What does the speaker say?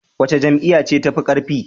Wace Jam'iyya ce tafi karfi?